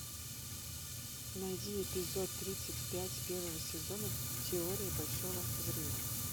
найди эпизод тридцать пять первого сезона теория большого взрыва